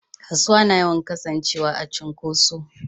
Kasuwa na yawan Kasan cewa a cunkoshe.